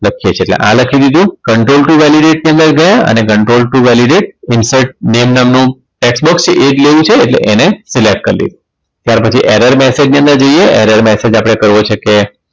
લખીએ છીએ એટલે આ લખી દીધું control to validater ની અંદર ગયા અને control to validat insert name નામનું tax box છે એ જ લઈએ છીએ એટલે એને fill up કરી દીધું ત્યાર પછી error message ની અંદર જઈએ error message આપણે કરવો છે કે